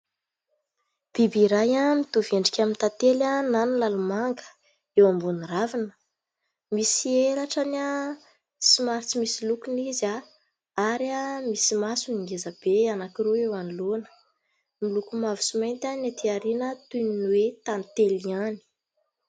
Biby iray nitovy endrika amin'ny tantely na ny lalimanga eo ambonin'ny ravina, misy elatra somary tsy misy lokony izy ary misy maso geza be anankiroa eo anoloana, ny loko mavo sy mainty amin'ny atỳ aoriana toy ny hoe tantely ihany.